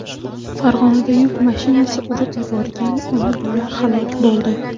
Farg‘onada yuk mashinasi urib yuborgan ona-bola halok bo‘ldi.